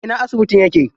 A ina asibitin yake?